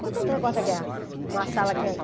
Contando o negócio da guerra uma sala que é...